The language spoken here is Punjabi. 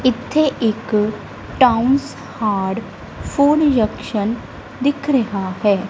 ਇੱਥੇ ਇੱਕ ਟਾਊਨਸ ਹੱਟ ਫੂਡ ਜੰਕਸ਼ਨ ਦਿੱਖ ਰਿਹਾ ਹੈ।